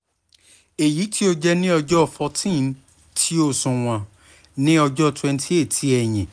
eyiti o jẹ ni ọjọ fourteen ti oṣuwọn ni ọjọ twenty eight ti ẹyin